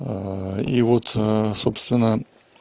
и вот собственно